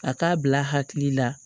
A k'a bila hakili la